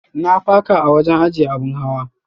Na faka a wajen ajiyya abin hawa.